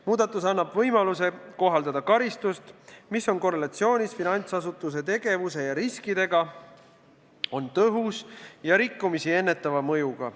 Muudatus annab võimaluse kohaldada karistust, mis on korrelatsioonis finantsasutuse tegevuse ja riskidega, on tõhus ja rikkumisi ennetava mõjuga.